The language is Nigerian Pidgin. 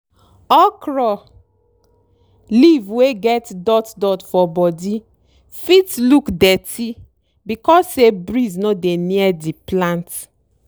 okro leaf wey get dot dot for body fit look dirty because say breeze no dey near di plant.